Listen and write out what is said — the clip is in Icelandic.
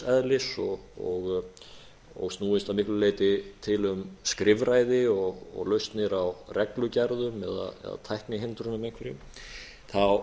eðlis og snúist að miklu leyti til um skrifræði og lausnir á reglugerðum eða tæknihindrunum einhverjum þá